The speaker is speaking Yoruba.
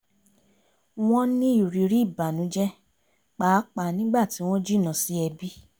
won ni iriri ibanuje paapaa nigbati won jina si ebi